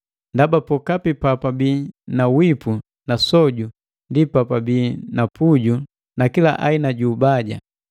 Ndaba pokapi papabii na wipu na soju ndi pabii na puju na kila aina ju ubaja.